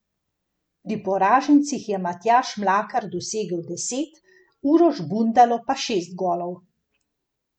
Pri poražencih je Matjaž Mlakar dosegel deset, Uroš Bundalo pa šest golov.